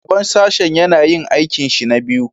Shugaban Sashen yana yin aikinsa na biyu